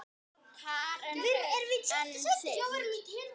Karen: En þið?